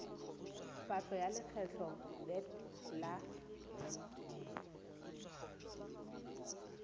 patlo ya lekgetho vat la